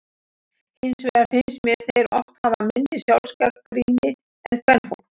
Hins vegar finnst mér þeir oft hafa minni sjálfsgagnrýni en kvenfólk.